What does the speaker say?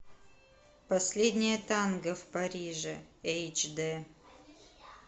последнее танго в париже эйч дэ